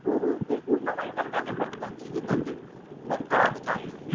हो हो ते पूर्ण पण करतात भक्तांची जे काही ते भक्तांचे आहे